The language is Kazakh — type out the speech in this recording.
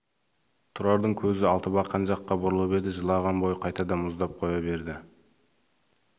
тұрардың көзі алтыбақан жаққа бұрылып еді жылыған бойы қайтадан мұздап қоя берді